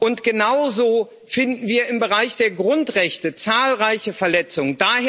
Und genauso finden wir im Bereich der Grundrechte zahlreiche Verletzungen.